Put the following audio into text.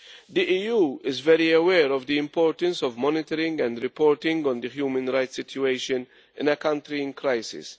The EU is very aware of the importance of monitoring and reporting on the human rights situation in a country in crisis.